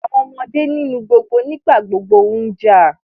Àwọn ọmọdé nínú gbogbo nígbàgbogbo ń jà